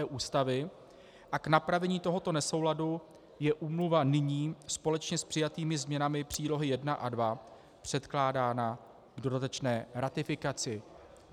e) Ústavy, a k napravení tohoto nesouladu je úmluva nyní společně s přijatými změnami příloh I a II předkládána k dodatečné ratifikaci.